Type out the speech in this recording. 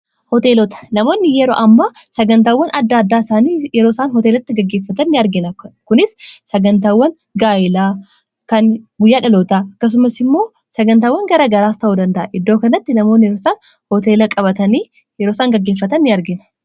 hooteelota namoonni yeroo amma sagantaawwan adda addaa isaanii yeroo isaan hooteelatti gaggeeffatan in argina kunis sagantaawwan gaayilaa kan guyyaadhaloota akkasumas immoo sagantaawan gara garaas ta'uu danda'a iddoo kanatti namooni yerooisaan hooteela qabatanii yerooisaan gaggeeffatan in argina